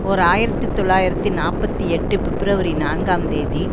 ஓர் ஆயிரத்தி தொள்ளாயிரத்தி நாற்பத்தி எட்டு பிப்ரவரி நான்காம் தேதி